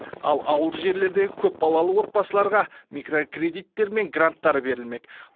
ал ауылды жерлердегі көпбалалы отбасыларға микрокредиттер мен гранттар берілмек